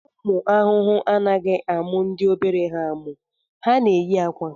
Ụmụ ahụhụ anaghị amụ ndị obere ha amụ, ha na-eyi akwa